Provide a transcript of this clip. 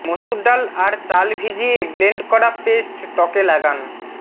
মসুর ডাল আর চাল ভিজিয়ে ব্লেন্ড করা পেস্ট ত্বকে লাগান